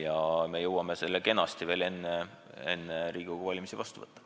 Ja me jõuame selle seaduse kenasti veel enne Riigikogu valimisi vastu võtta.